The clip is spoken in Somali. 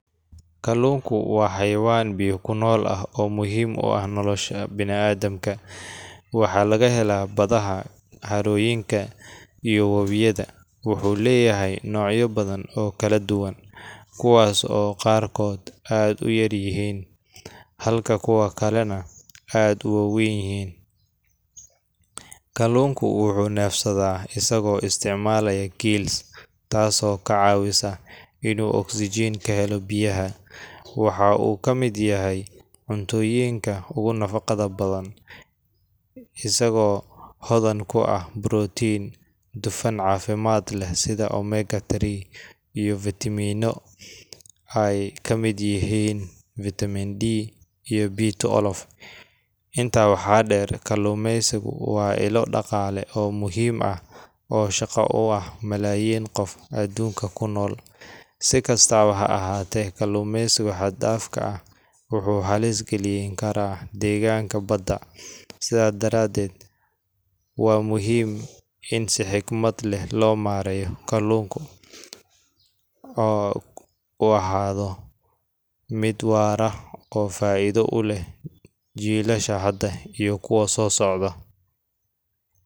Kalluunku waa xayawaan biyo ku nool ah oo muhiim u ah nolosha bini’aadamka. Waxaa laga helaa badaha, harooyinka, iyo wabiyada, wuxuuna leeyahay noocyo badan oo kala duwan, kuwaas oo qaarkood aad u yaryihiin halka kuwa kalena aad u waaweyn yihiin. Kalluunku wuxuu neefsadaa isagoo isticmaalaya gills, taasoo ka caawisa inuu oksijiin ka helo biyaha. Waxaa uu ka mid yahay cuntooyinka ugu nafaqada badan, isagoo hodan ku ah borotiin, dufan caafimaad leh sida omega three, iyo fiitamiino ay ka mid yihiin vitamin D iyo B twelve. Intaa waxaa dheer, kalluumaysigu waa ilo dhaqaale oo muhiim ah oo shaqo u ah malaayiin qof adduunka ku nool. Si kastaba ha ahaatee, kalluumaysiga xad-dhaafka ah wuxuu halis gelin karaa deegaanka badda. Sidaa daradeed, waa muhiim in si xigmad leh loo maareeyo kalluunku oo u ahaado mid waara oo faa’iido u leh jiilasha hadda iyo kuwa soo socda